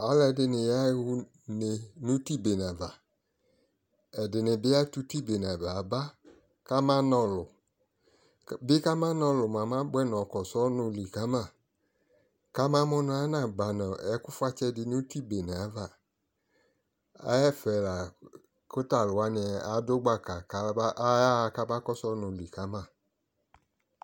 Alʊɛdɩnɩ yaɣa ʊne nʊ iti beneava ɛdɩnɩbɩ atʊ iti beneava yaba kamana ɔlu bɩkʊ amana ɔlu mʊa mɛ abʊɛ nʊ ɔma kɔsu ɔnʊlɩ kama kamamu nʊ anaba nʊ ɛkʊ fʊatsɛ dɩ nʊ iti beneava ɛfɛ lakʊ alʊ wanɩ adu gbaka kayaɣa mɛ kama kɔsʊ ɔnʊlɩ kama